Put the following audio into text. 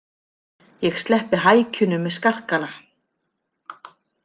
Ég sleppi hækjunum með skarkala.